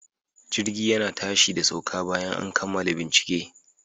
Jirgi yana tashi da sauka bayan an kammala bincike.